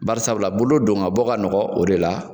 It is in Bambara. Bari sabula bolo don ka bɔ ka nɔgɔ o de la.